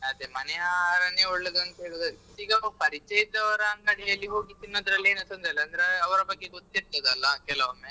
ಅದೇ ಮನೆ ಆಹಾರನೇ ಒಳ್ಳೇದಂತ ಹೇಳಿದ್. ಪರಿಚಯ ಇದ್ದವರ ಅಂಗಡಿಯಲ್ಲಿ ಹೋಗಿ ತಿನ್ನುವುದ್ರಲ್ಲಿ ಏನು ತೊಂದ್ರೆಲ್ಲಾ ಅಂದ್ರೆ ಅವರ ಬಗ್ಗೆ ಗೊತ್ತಿರ್ತದಲ್ಲ ಕೆಲವೊಮ್ಮೆ.